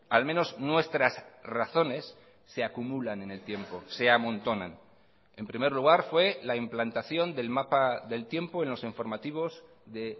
al menos nuestras razones se acumulan en el tiempo se amontonan en primer lugar fue la implantación del mapa del tiempo en los informativos de